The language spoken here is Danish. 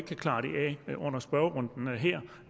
at under spørgerunden her